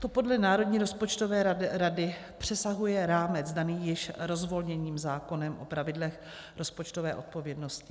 To podle Národní rozpočtové rady přesahuje rámec daný již rozvolněním zákonem o pravidlech rozpočtové odpovědnosti.